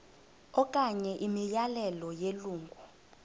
okanye imiyalelo yelungu